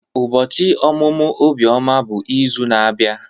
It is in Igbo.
Ubochi omumu Obioma bụ izu na-abia.